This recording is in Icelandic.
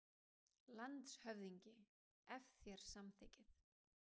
LANDSHÖFÐINGI: Ef þér samþykkið.